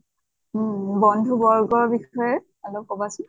উম বন্ধু বৰ্গৰ বিষয়ে অলপ কʼবা চোন।